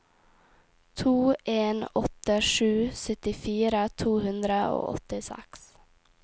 to en åtte sju syttifire to hundre og åttiseks